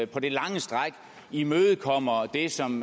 på det lange stræk imødekommer det som